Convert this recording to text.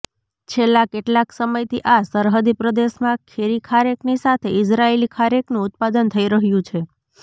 છેલ્લા કેટલાક સમયથી આ સરહદી પ્રદેશમાં દેશી ખારેકની સાથે ઈઝરાયેલી ખારેકનું ઉત્પાદન થઇ રહ્યું છે